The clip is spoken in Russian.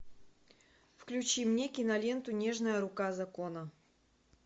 включи мне киноленту нежная рука закона